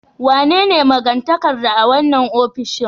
Wanene magatakarda a wannan ofishin